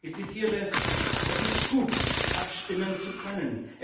Ich zitiere Es ist gut, abstimmen zu können.